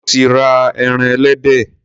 Mo ti ra eran ẹlẹdẹ.